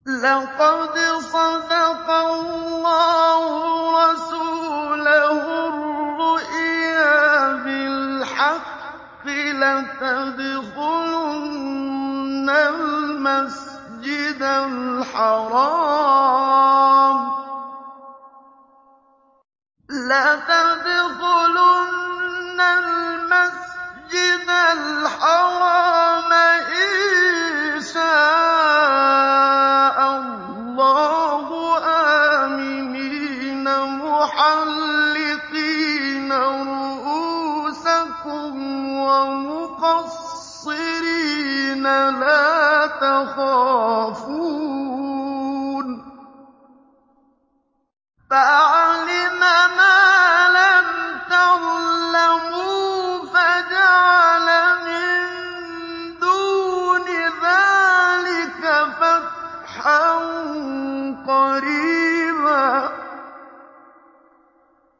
لَّقَدْ صَدَقَ اللَّهُ رَسُولَهُ الرُّؤْيَا بِالْحَقِّ ۖ لَتَدْخُلُنَّ الْمَسْجِدَ الْحَرَامَ إِن شَاءَ اللَّهُ آمِنِينَ مُحَلِّقِينَ رُءُوسَكُمْ وَمُقَصِّرِينَ لَا تَخَافُونَ ۖ فَعَلِمَ مَا لَمْ تَعْلَمُوا فَجَعَلَ مِن دُونِ ذَٰلِكَ فَتْحًا قَرِيبًا